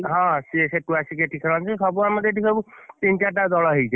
ହଁ ସିଏ ସେଠୁ ଆସିକି ଏଠି ଖେଳନ୍ତି, ସବୁ ଆମର ଏଠି ସବୁ ତିନି ଚାରିଟା ଦଳ ହେଇଯାଇଛି,